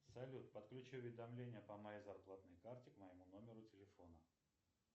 салют подключи уведомления по моей зарплатной карте к моему номеру телефона